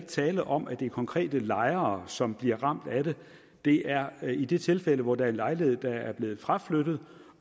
tale om at det er konkrete lejere som bliver ramt af det det er i de tilfælde hvor der er en lejlighed der er blevet fraflyttet